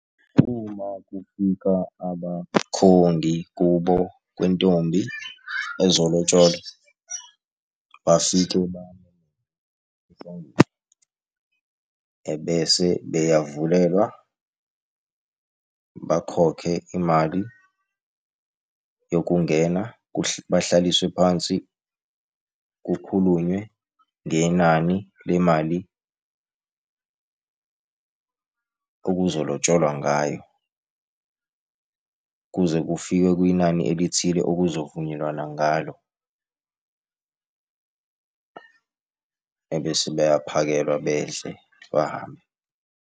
Uma kufika abakhongi kubo kwentombi ezolotsholelwa, bafike ebese beyavulelwa, bakhokhe imali yokungena bahlaliswe phansi, kukhulunywe ngenani lemali okuzolotsholwa ngayo. Kuze kufike kwinani elithile okuzovunyelwana ngalo, ebese bayaphakelwa bedle, bahambe.